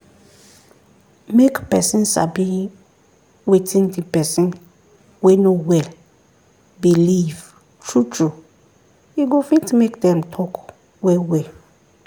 make person sabi wetin the person wey no well beleive true true e go fit make them talk well well